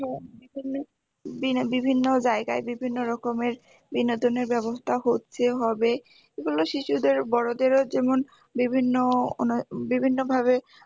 বিভিন্ন জায়গায় বিভিন্ন রকমের বিনোদনের ব্যবস্থা হচ্ছে হবে এগুলো শিশুদের বড়দেরও যেমন বিভিন্ন বিভিন্ন ভাবে